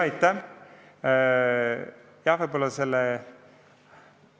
Aitäh!